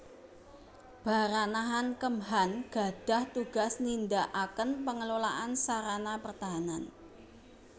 Baranahan Kemhan gadhah tugas nindakaken pengelolaan sarana pertahanan